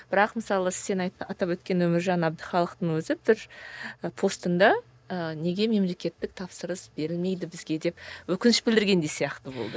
бірақ мысалы сен атап өткен өміржан әбдіхалықтың өзі бір і постында ы неге мемлекеттік тапсырыс берілмейді бізге деп өкініш білдіргендей сияқты болды